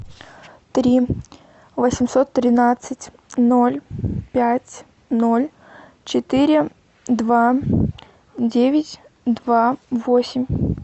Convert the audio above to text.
три восемьсот тринадцать ноль пять ноль четыре два девять два восемь